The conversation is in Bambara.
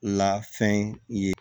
Lafɛn ye